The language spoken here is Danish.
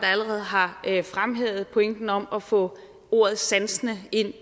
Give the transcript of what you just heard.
allerede har fremhævet pointen om at få ordet sansende ind